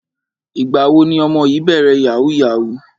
Ìgbà wo ni ọmọ yìí bẹ̀rẹ̀ yahoo yahoo?